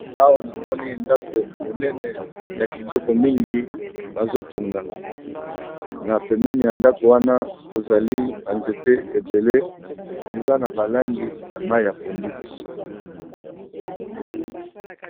awa namoni ndako monene ya kitoko mingi bazotonga na pemene ya ndako wana kozali banzete ebele eza na balangi ya mai ya pondu